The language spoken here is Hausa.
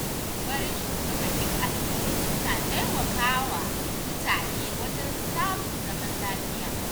Shawarwarin shugabannin addinai suna taimaka wa mutane wajen samun zaman lafiya